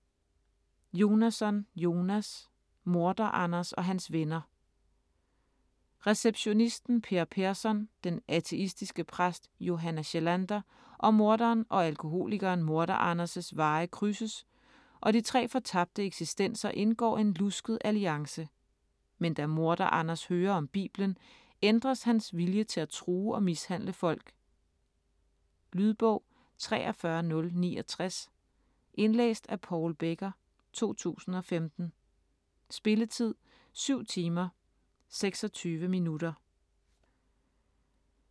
Jonasson, Jonas: Morder-Anders og hans venner Receptionisten Per Persson, den ateistiske præst Johanna Kjellander og morderen og alkoholikeren Morder-Anders' veje krydses, og de tre fortabte eksistenser indgår en lusket alliance. Med da Morder-Anders hører om Bibelen, ændres hans vilje til at true og mishandle folk. Lydbog 43069 Indlæst af Paul Becker, 2015. Spilletid: 7 timer, 26 minutter.